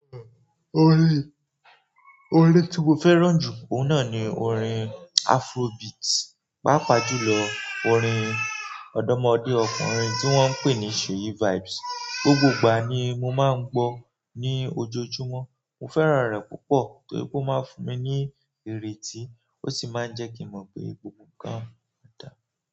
Orin tí mo fẹ́ràn jù, òun náà ni orin Afrobeat. Pápá jùlọ orin ọ̀dọ́mọdé ọkùnrin tí wọ́n ń pè ní Seyi vibes. Gbogbo ìgbà ni mo máa ń gbọ́ ní ojoojúmọ́. Mo fẹ́ràn rẹ̀ púpọ̀ torí pé ó máa ń fún mi ní ìrètí, ó sì máa ń jẹ́ kí mo mọ̀ pé gbogbo nǹkan dáa.